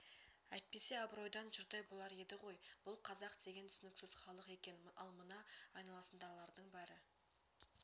әйтпесе абыройдан жұрдай болар еді ғой бұл қазақ деген түсініксіз халық екен ал мына айналасындағылардың бәрі